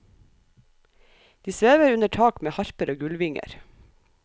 De svever under tak med harper og gullvinger.